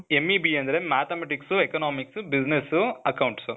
MEBA ಅಂದ್ರೆ mathematics, economics, business, accounts.